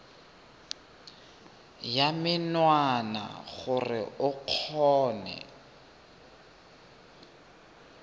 ya menwana gore o kgone